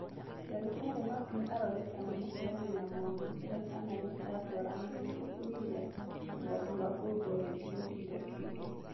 Ndagĩtarĩ no ginya arore kana mũheani na mwamũkĩra kana nĩciratwarana nĩguo kũnyihia ũgwati wa kũruto wĩkiro kĩga kĩngĩ.